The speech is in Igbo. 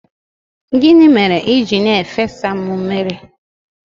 Gịnị mere i ji na-efesa m mmiri?